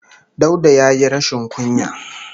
Dauda ya yi rashin kunya.